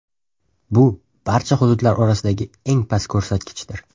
Bu barcha hududlar orasidagi eng past ko‘rsatkichdir.